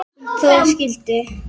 um troða skyldi